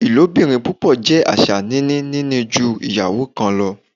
Ilobirin pupọ jẹ aṣa nini nini ju iyawo kan lọ